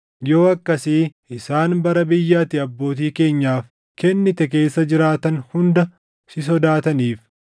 yoo akkasii isaan bara biyya ati abbootii keenyaaf kennite keessa jiraatan hunda si sodaataniif.